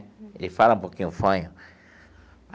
Ele fala um pouquinho fanho.